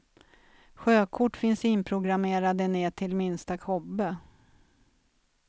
Sjökort finns inprogrammerade ner till minsta kobbe.